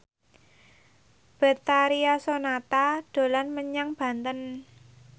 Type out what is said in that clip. Betharia Sonata dolan menyang Banten